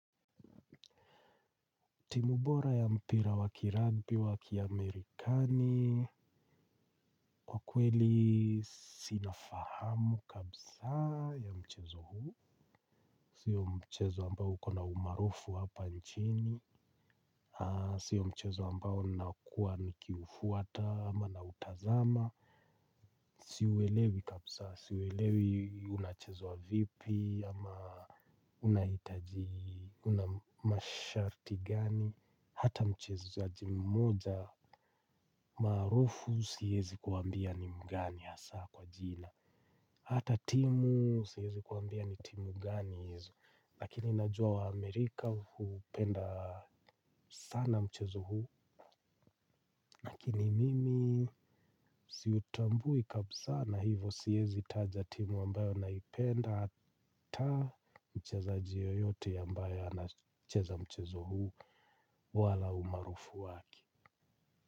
Timu bora ya mpira wa kirugby wa kiamerikani. Kweli sina fahamu kabisa ya mchezo huu. Siyo mchezo ambao uko na umaarufu hapa nchini. Siyo mchezo ambao nakuwa nikiufuata ama nautazama. Siuelewi kabisa siuelewi unachezwa vipi ama unahitaji una masharti gani hata mchezaji mmoja maarufu siwezi kuambia ni mgani hasa kwa jina hata timu siwezi kuambia ni timu gani hizo lakini najua waamerika huupenda sana mchezo huu lakini mimi siutambui kabisa na hivyo siwezi taja timu ambayo naipenda hata mchezaji yoyote ambayo anacheza mchezo huu wala umaarufu wake.